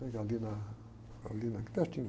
Pela ali na, ali na, aqui pertinho.